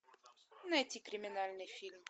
найти криминальный фильм